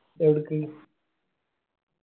ഏടുക്ക്